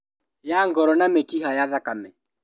Ya ngoro na mĩkiha ya thakame